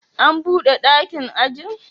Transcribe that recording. An bude dakin ajin?